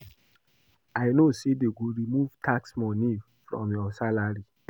I no know say dey go remove tax money from our salary